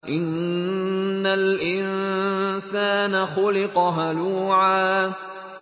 ۞ إِنَّ الْإِنسَانَ خُلِقَ هَلُوعًا